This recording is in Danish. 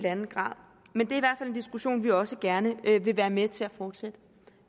diskussion vi også gerne vil være med til at fortsætte